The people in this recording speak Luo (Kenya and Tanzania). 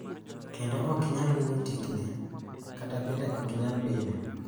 Kendo ok inyal winjo tik ne kata bende ok inyal bile .